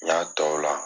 N y'a tɔw la